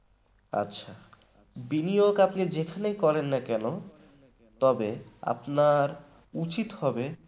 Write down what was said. আচ্ছা বিনিয়োগ আপনি যেখানেই করেন না কেন তবে আপনার উচিত হবে